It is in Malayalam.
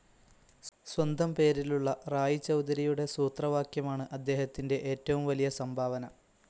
സ്വന്തം പേരിലുള്ള റായി ചൗധരിയുടെ സൂത്രവാക്യമാണ് അദ്ദേഹത്തിൻ്റെ ഏറ്റവും വലിയ സംഭാവന.